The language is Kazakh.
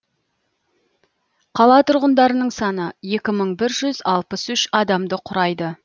қала тұрғындарының саны екі мың бір жүз алпыс үш адамды құрайды